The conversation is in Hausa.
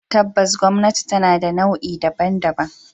Tabbas gwamnati tana da nau'i daban-daban.